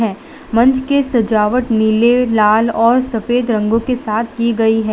मंच के सजावट नीले लाल और सफेद रंगों के साथ की गई है।